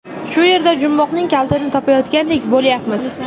Shu yerda jumboqning kalitini topayotgandek bo‘layapmiz.